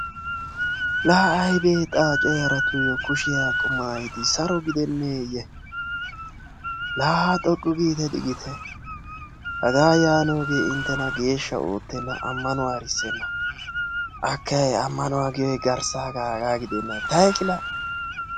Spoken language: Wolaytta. laa aybee xaace yaratuyoo kushiya tuma saro gideneyee. laa haa lulumiyoge intenna amanuwara efeenna. amanuwa giyoge hegaa gidenna taykkilaa